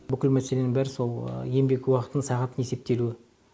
бүкіл мәселенің бәрі сол еңбек уақытын сағатын есептелуі